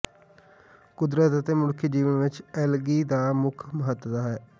ਕੁਦਰਤ ਅਤੇ ਮਨੁੱਖੀ ਜੀਵਨ ਵਿਚ ਐਲਗੀ ਦਾ ਮੁੱਖ ਮਹੱਤਤਾ